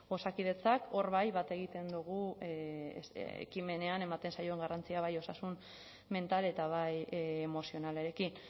osakidetzak hor bai bat egiten dugu ekimenean ematen zaion garrantzia bai osasun mental eta bai emozionalarekin